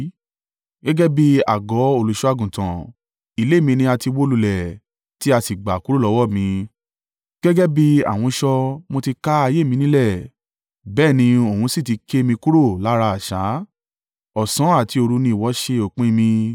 Gẹ́gẹ́ bí àgọ́ olùṣọ́-àgùntàn, ilé mi ni a ti wó lulẹ̀ tí a sì gbà kúrò lọ́wọ́ mi. Gẹ́gẹ́ bí ahunṣọ mo ti ká ayé mi nílẹ̀, bẹ́ẹ̀ ni òun sì ti ké mi kúrò lára àṣà; ọ̀sán àti òru ni ìwọ ṣe òpin mi.